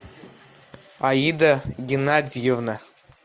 аида геннадьевна